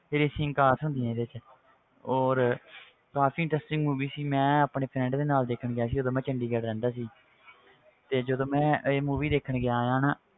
Racing cars ਹੁੰਦੀਆਂ ਇਹਦੇ 'ਚ ਔਰ ਕਾਫ਼ੀ interesting movie ਸੀ ਮੈਂ ਆਪਣੇ friend ਦੇ ਨਾਲ ਦੇਖਣ ਗਿਆ ਸੀ ਉਦੋਂ ਮੈਂ ਚੰਡੀਗੜ੍ਹ ਰਹਿੰਦਾ ਸੀ ਤੇ ਜਦੋਂ ਮੈਂ ਇਹ movie ਦੇਖਣ ਗਿਆ ਹਾਂ ਨਾ